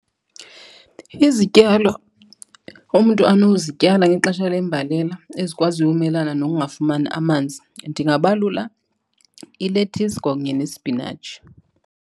Izityalo umntu anozityala ngexesha lembalela ezikwaziyo umelana nokungafumani amanzi, ndingabalula ilethisi kwakunye nespinatshi.